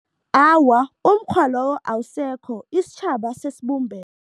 Awa, umukghwa lowo awusekho. Isitjhaba sesibumbene.